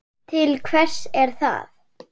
Til hvers er það?